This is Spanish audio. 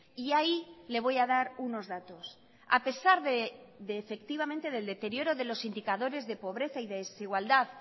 y ahí le voy a dar unos datos a pesar de efectivamente del deterioro de los indicadores de pobreza y desigualdad